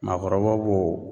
Maakɔrɔbaw b'o